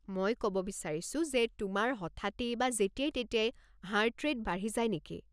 মই ক'ব বিচাৰিছো যে, তোমাৰ হঠাতেই বা যেতিয়াই-তেতিয়াই হাৰ্ট ৰে'ট বাঢ়ি যায় নেকি?